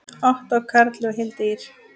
Ottó Karli og Hildi Ýr.